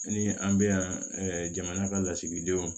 Ni an bɛ yan jamana ka lasigidenw